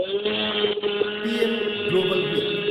PM global week.